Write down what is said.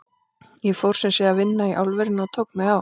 Ég fór sem sé að vinna í álverinu og tók mig á.